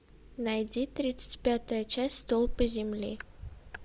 найди тридцать пятая часть столпы земли